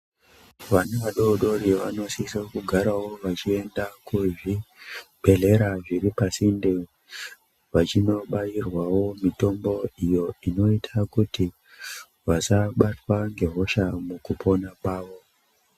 Vantu vadoodori vanosise kugarawo vachiende kuzvibhedhlera zviri pasinde vachinobairwawo mitombo iyo inoite kuti vasabatwa ngehosha mukupona kwavo.